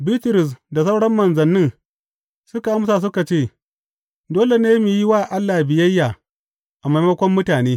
Bitrus da sauran manzannin suka amsa suka ce, Dole ne mu yi wa Allah biyayya a maimakon mutane!